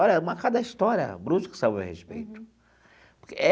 Olha, mas cada história, brusca, sobre o meu respeito.